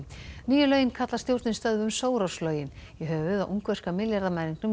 nýju lögin kallar stjórnin stöðvum Soros lögin í höfuðið á ungverska